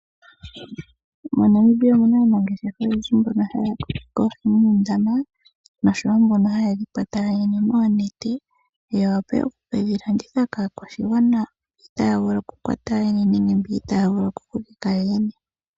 MoNamibia omu na aanangeshefa oyendhi mboka haa kokeke oohi muundama nosho wo mboka haye dhi kwata yoyene noonete ya wape oku ke dhi landitha kaakwashigwana mboka itaaya vulu okukwata yoyeyene nege okukokeka yoyene.